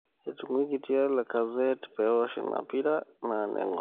Etuinguikia Lacazette pewosh ina pira na nengor.